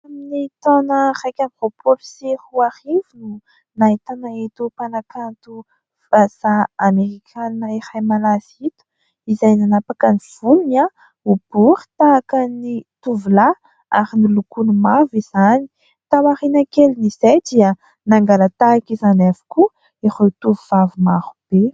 Tamin'ny taona iraika amby roapolo sy arivo no nahitana eto mpanakanto vazaha Amerikana iray malaza ito, izay nanapaka ny volony ho bory tahaka ny tovolahy ary ny lokony mavo izany ; tao aoriana kely ny izay dia nangala-tahaka izany avokoa ireo tovovavy marobe.